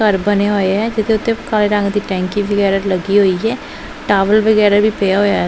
ਘਰ ਬਣੇ ਹੋਏ ਐ ਜਿਹਦੇ ਉੱਤੇ ਕਾਲੇ ਰੰਗ ਦੀ ਟੈਂਕੀ ਵਗੈਰਾ ਲੱਗੀ ਹੋਈ ਹੈ ਟਾਵਲ ਵਗੈਰਾ ਵੀ ਪਿਆ ਹੋਇਆ।